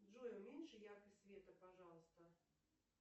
джой уменьши яркость света пожалуйста